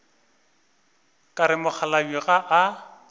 ka re mokgalabje ga a